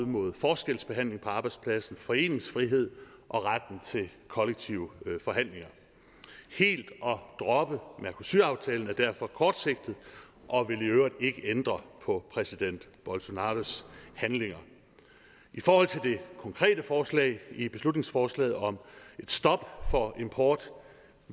mod forskelsbehandling på arbejdspladsen foreningsfrihed og retten til kollektive forhandlinger helt at droppe mercosur aftalen er derfor kortsigtet og vil i øvrigt ikke ændre på præsident bolsonaros handlinger i forhold til det konkrete forslag i beslutningsforslaget om et stop for import